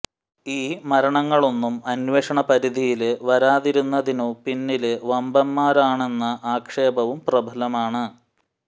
ഈ മരണങ്ങളൊന്നും അന്വേഷണ പരിധിയില് വരാതിരുന്നതിനു പിന്നില് വമ്പന്മാരാണെന്ന ആക്ഷേപവും പ്രബലമാണ്